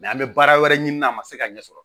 an bɛ baara wɛrɛ ɲini n'a ma se ka ɲɛ sɔrɔ